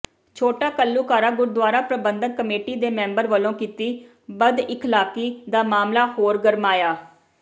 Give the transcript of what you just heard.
ਛੋਟਾ ਘੱਲੂਘਾਰਾ ਗੁਰਦੁਆਰਾ ਪ੍ਰਬੰਧਕ ਕਮੇਟੀ ਦੇ ਮੈਂਬਰ ਵੱਲੋਂ ਕੀਤੀ ਬਦਇਖਲਾਕੀ ਦਾ ਮਾਮਲਾ ਹੋਰ ਗਰਮਾਇਆ